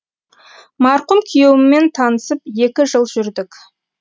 марқұм күйеуіммен танысып екі жыл жүрдік